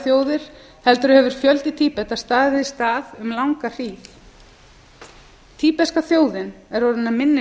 þjóðir heldur hefur fjöldi tíbeta staðið í stað um langa hríð tíbeska þjóðin er orðin að minni